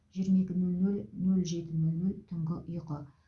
жиырма екі нөл нөл нөл жеті нөл нөл түнгі ұйқы